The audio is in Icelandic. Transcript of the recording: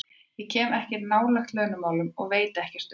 Ég kem ekkert nálægt launamálum og veit ekkert um þau.